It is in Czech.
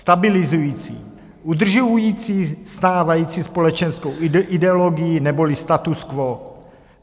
Stabilizující, udržující stávající společenskou ideologii neboli status quo.